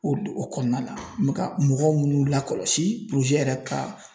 O du o kɔnɔna la n mɛ ka mɔgɔ munnu lakɔlɔsi yɛrɛ ka